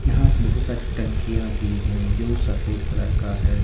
यहां से बहुत सारी टंकियां भी है जो सफेद कलर का है।